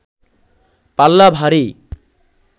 পাল্লা ভারী